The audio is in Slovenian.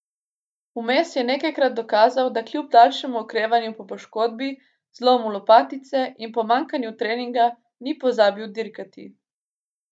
Vmes je nekajkrat dokazal, da kljub daljšemu okrevanju po poškodbi, zlomu lopatice, in pomanjkanju treninga ni pozabil dirkati.